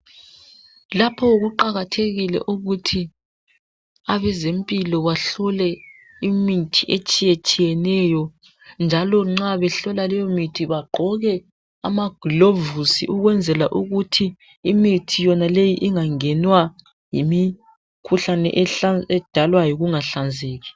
Lapho kuqakathekile ukuthi abezempilo bahlole imithi etshiyetshiyeneyo njalo nxa behlola leyo mithi bagqoke amagilovusi ukwenzela ukuthi imithi yonale ingangenwa yimikhuhlane ehlan ... edalwa yikungahlanzeki!